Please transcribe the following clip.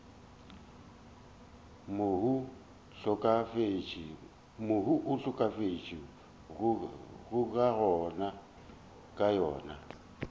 mohu a hlokafetšego ka yona